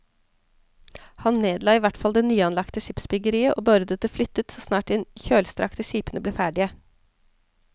Han nedla i hvert fall det nyanlagte skipsbyggeriet og beordret det flyttet så snart de kjølstrakte skipene ble ferdige.